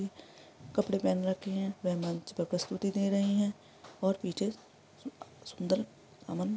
कपड़े पहन रखे हैं वह मंच पर प्रस्तुति दे रही है और पीछे सुंदर --